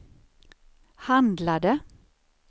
handlade